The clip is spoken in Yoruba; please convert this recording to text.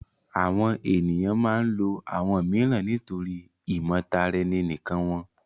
Awọn eniyan maa ǹ lo awọn miiran nitori imotaraeninikan wọn